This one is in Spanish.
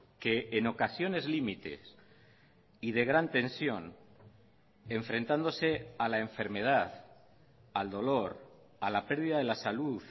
que en ocasiones límites y de gran tensión enfrentándose a la enfermedad al dolor a la pérdida de la salud